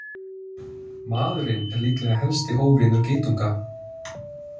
Maðurinn er líklega helsti óvinur geitunga!